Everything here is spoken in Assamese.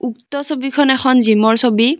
উক্ত ছবিখন এখন জিম ৰ ছবি।